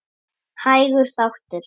Hægur þáttur